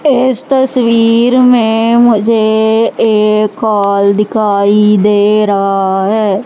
इस तस्वीर में मुझे एक हॉल दिखाई दे रहा है।